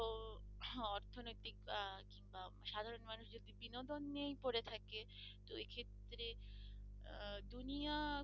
বিনোদন নিয়েই পরে থাকে তো এ ক্ষেত্রে দুনিয়া